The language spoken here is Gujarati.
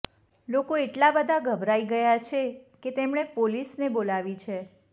લોકો એટલા બધા ગભરાઈ ગયા છે કે તેમણે પોલીસને બોલાવી છે